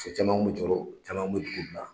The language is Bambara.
Muso caman kun bɛ jɔɔrɔ caman bɛ dugu bila.